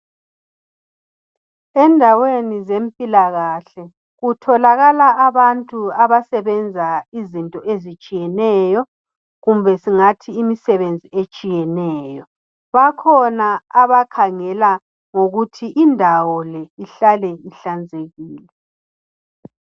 Endaweni zempilakahle kutholakala abantu abasebenza izinto ezitshiyeneyo kumbe singathi imisebenzi etshiyeneyo. Bakhona abakhangela ngokuthi indawo le ihlale ihlanzekile.